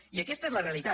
i aquesta és la realitat